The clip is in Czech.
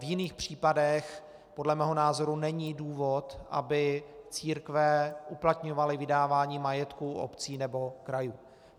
V jiných případech podle mého názoru není důvod, aby církve uplatňovaly vydávání majetku obcí nebo krajů.